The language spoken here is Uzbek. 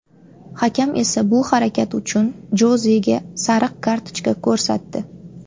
Hakam esa bu harakat uchun Jozega sariq kartochka ko‘rsatdi.